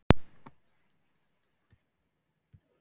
Sindri Sindrason: Hreiðar, hvers vegna hættuð þið við kaupin?